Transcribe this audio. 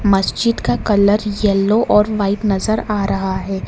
मस्जिद का colour yellow और व्हाइट नजर आ रहा है।